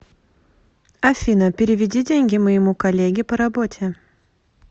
афина переведи деньги моему коллеге по работе